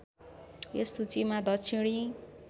यस सूचीमा दक्षिणी